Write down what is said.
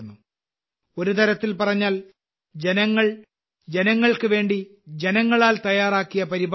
ഒരുതരത്തിൽ പറഞ്ഞാൽ ജനങ്ങൾ ജനങ്ങൾക്ക് വേണ്ടി ജനങ്ങളാൽ തയ്യാറാക്കിയ പരിപാടിയാണിത്